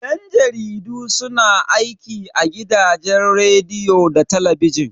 Yan jaridu su na aiki a gidajen rediyo da talabijin.